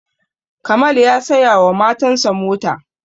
Kamal ya saya wa matan sa mota